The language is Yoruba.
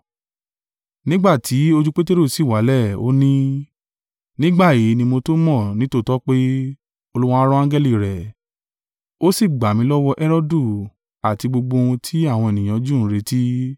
Nígbà tí ojú Peteru sì wálẹ̀, ó ní, “Nígbà yìí ni mo tó mọ̀ nítòótọ́ pé, Olúwa rán angẹli rẹ̀, ó sì gbà mi lọ́wọ́ Herodu àti gbogbo ohun tí àwọn ènìyàn Júù ń retí!”